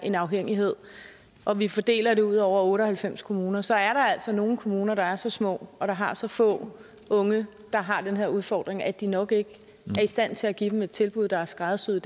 en afhængighed og vi fordeler det ud over otte og halvfems kommuner så er der altså nogle kommuner der er så små og har så få unge der har den her udfordring at de nok ikke er i stand til at give dem et tilbud der er skræddersyet